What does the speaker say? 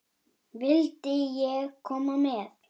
Vildi ég koma með?